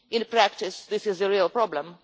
In practice, this is a real problem.